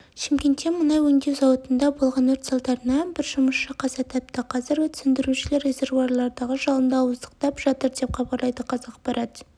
шымкентте мұнай өңдеу зауытында болған өрт салдарынан бір жұмысшы қаза тапты қазір өрт сөндірушілер резервуарлардағы жалынды ауыздықтап жатыр деп хабарлайды қазақпарат